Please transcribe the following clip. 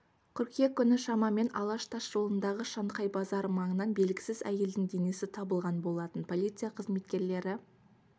қыркүйек күні шамамен алаш тас жолындағы шанхай базары маңынан белгісіз әйелдің денесі табылған болатын полиция қызметкерлері